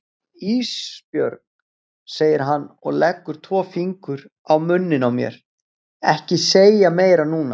Ísbjörg, segir hann og leggur tvo fingur á munninn á mér, ekki segja meira núna.